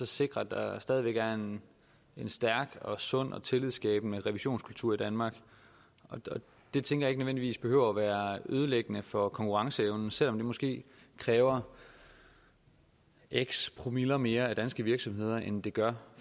sikrer at der stadig væk er en en stærk og sund og tillidsskabende revisionskultur i danmark det tænker jeg ikke nødvendigvis behøver at være ødelæggende for konkurrenceevnen selv om det måske kræver x promille mere af danske virksomheder end det gør